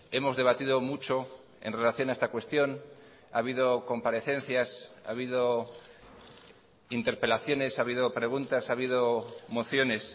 hemos debatido mucho en relación a esta cuestión ha habido comparecencias ha habido interpelaciones ha habido preguntas ha habido mociones